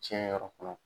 Tiɲɛ yɛrɛ kɔnɔ